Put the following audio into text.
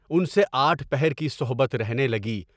اُن سے آٹھ پہر کی صحبت رہنے لگی۔